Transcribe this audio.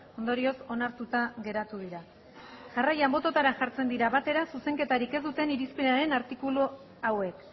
ondorioz onartuta geratu dira jarraian bototara jartzen dira batera zuzenketarik ez duten irizpenaren artikulu hauek